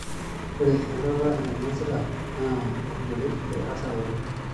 Ore enyorrata ina niyasita naa olbolet lerasaroto.